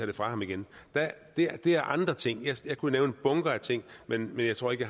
det fra ham igen det er andre ting jeg kunne nævne bunker af ting men jeg tror ikke at